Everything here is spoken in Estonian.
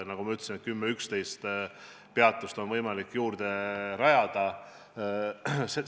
Nagu ma ütlesin, on juurde võimalik rajada 10–11 peatust.